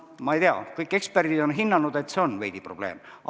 Ma ei tea, kõik eksperdid on hinnanud, et see on veidi probleem.